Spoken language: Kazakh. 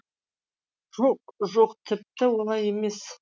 жоқ жоқ тіпті олай емес